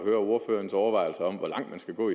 ordførerens overvejelser om hvor langt man skal gå